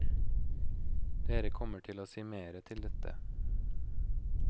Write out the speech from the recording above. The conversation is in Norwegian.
Dere kommer til å se mere til dette.